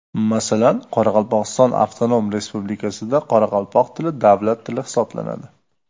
Masalan, Qoraqalpog‘iston avtonom respublikasida qoraqalpoq tili davlat tili hisoblanadi.